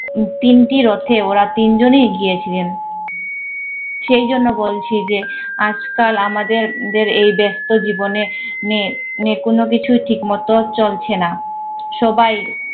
তিনটি রথে ওরা তিনজনই গিয়েছিলেন। সেইজন্য বলছি যে আজকাল আমাদের দের এই ব্যস্ত জীবনে নে এ কোন কিছুই ঠিকমতো চলছে না। সবাই